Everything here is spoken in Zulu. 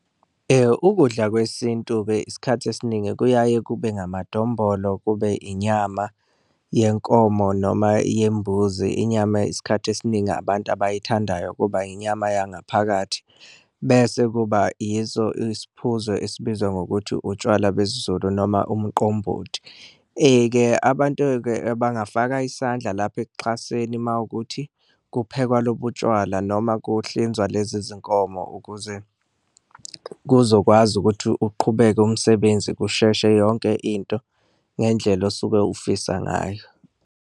Ukudla kwesintu-ke isikhathi esiningi kuyaye kube ngamadombolo, kube inyama yenkomo noma yembuzi, inyama isikhathi esiningi abantu abayithandayo kuba inyama yangaphakathi, bese kuba yiso isiphuzo esibizwa ngokuthi utshwala besiZulu noma umqombothi. Ke abantu-ke bangafaka isandla lapho ekuxhaseni uma kuwukuthi kuphekwa lobu utshwala noma kuhlinzwa lezi zinkomo, ukuze kuzokwazi ukuthi uqhubeke umsebenzi kusheshe yonke into ngendlela osuke ufisa ngayo.